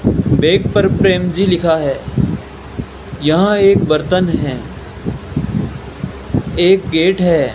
Bag पर प्रेम जी लिखा है यहां एक बर्तन है एक गेट है।